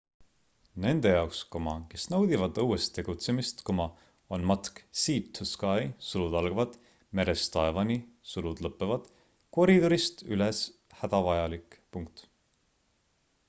nende jaoks kes naudivad õues tegutsemist on matk sea to sky merest taevani koridorist üles hädavajalik